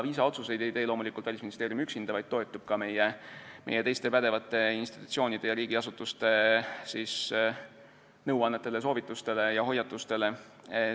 Viisaotsuseid ei tee loomulikult Välisministeerium üksinda, ta toetub meie teiste pädevate institutsioonide ja riigiasutuste nõuannetele, soovitustele ja hoiatustele.